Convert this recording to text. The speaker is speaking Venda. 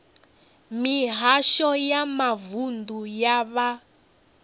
mihasho ya mavunḓu ya vha